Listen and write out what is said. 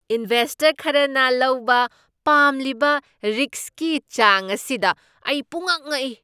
Investor ꯈꯔꯅ ꯂꯧꯕ ꯄꯥꯝꯂꯤꯕ ꯔꯤꯁꯛꯀꯤ ꯆꯥꯡ ꯑꯁꯤꯗ ꯑꯩ ꯄꯨꯝꯉꯛ ꯉꯛꯏ꯫